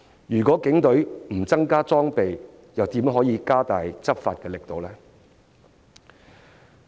如果警隊不增加裝備，又如何加大執法力度呢？